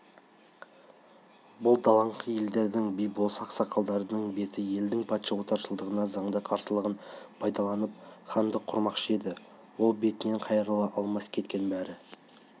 бұл далаңқы елдердің би-болыс ақсақалдарының беті елдің патша отаршылдығына заңды қарсылығын пайдаланып хандық құрмақшы енді ол бетінен қайрыла алмаса кеткен бәрібір